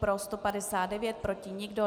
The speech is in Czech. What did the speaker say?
Pro 159, proti nikdo.